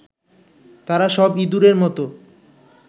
তারা সব ইঁদুরের মত